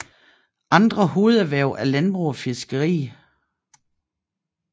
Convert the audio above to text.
Andre hovederhverv er landbrug og fiskeri